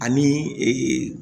Ani